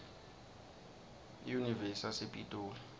iyunivesi yasepitoli